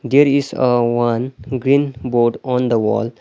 There is a one green board on the wall.